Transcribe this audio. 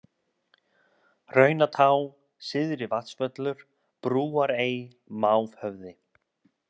Hraunatá, Syðri-Vatnsvöllur, Brúarey, Mávhöfði